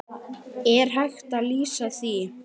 Er hægt að lýsa því?